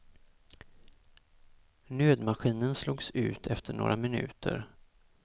Nödmaskinen slogs ut efter några minuter.